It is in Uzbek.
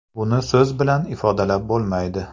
Buni so‘z bilan ifodalab bo‘lmaydi.